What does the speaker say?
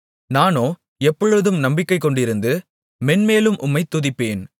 நானோ எப்பொழுதும் நம்பிக்கைகொண்டிருந்து மேன்மேலும் உம்மைத் துதிப்பேன்